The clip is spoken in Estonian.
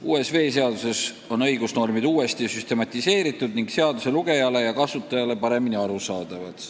Uues veeseaduses on õigusnormid uuesti süstematiseeritud ning seaduse kasutajale paremini arusaadavad.